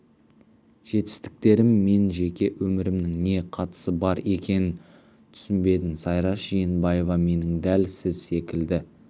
жетістіктерім мен жеке өмірімнің не қатысы бар екенін түсінбедім сайраш жиенбаева менің дәл сіз секілді